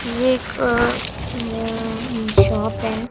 ये एक अ अं शॉप है।